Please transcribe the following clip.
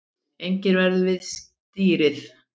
Enginn verður við stýrið